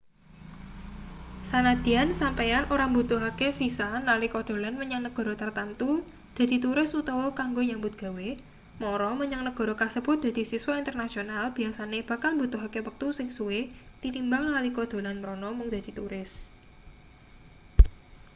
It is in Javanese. sanadyan sampeyan ora mbutuhake visa nalika dolan menyang negara tartamtu dadi turis utawa kanggo nyambut gawe mara menyang nagara kasebut dadi siswa internasional biyasane bakal mbutuhake wektu sing suwe tinimbang nalika dolan mrana mung dadi turis